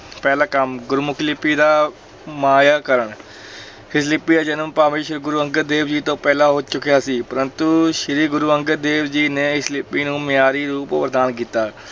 ਪਹਿਲਾ ਕੰਮ ਗੁਰਮੁਖੀ ਲਿਪੀ ਦਾ ਮਾਇਆਕਰਣ ਇਸ ਲਿਪੀ ਦਾ ਜਨਮ ਭਾਵੇਂ ਸ੍ਰੀ ਗੁਰੂ ਅੰਗਦ ਦੇਵ ਜੀ ਤੋਂ ਪਹਿਲਾਂ ਹੋ ਚੁੱਕਿਆ ਸੀ ਪਰੰਤੂ ਸ੍ਰੀ ਗੁਰੂ ਅੰਗਦ ਦੇਵ ਜੀ ਨੇ ਇਸ ਲਿਪੀ ਨੂੰ ਮਿਆਰੀ ਰੂਪ ਪ੍ਰਦਾਨ ਕੀਤਾ।